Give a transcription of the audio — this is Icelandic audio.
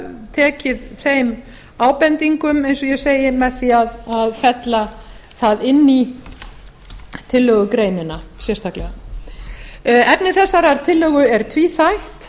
tekið þeim ábendingum eins og ég segi með því að fella það inn í tillögugreinina sérstaklega efni þessarar tillögu er tvíþætt